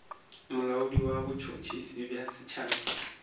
molaodi wa botšhotšhisi bja setšhaba